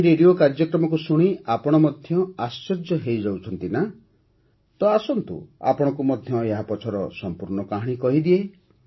ଏହି ରେଡିଓ କାର୍ଯ୍ୟକ୍ରମକୁ ଶୁଣି ଆପଣ ମଧ୍ୟ ଆଶ୍ଚର୍ଯ୍ୟ ହୋଇଯାଉଛନ୍ତି ନା ତ ଆସନ୍ତୁ ଆପଣଙ୍କୁ ମଧ୍ୟ ଏହା ପଛର ସମ୍ପୂର୍ଣ୍ଣ କାହାଣୀ କହିଦିଏ